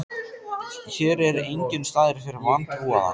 Hér er enginn staður fyrir vantrúaða.